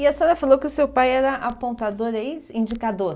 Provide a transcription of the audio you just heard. E a senhora falou que o seu pai era apontador, ex-indicador.